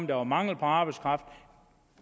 der var mangel på arbejdskraft